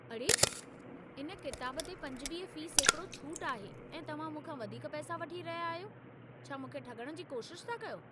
अड़े! इन किताब ते पंजवीह फ़ी सैकिड़ो छूटि आहे ऐं तव्हां मूंखां वधीक पैसा वठी रहिया आहियो। छा मूंखे ठॻणु जी कोशिश था कयो?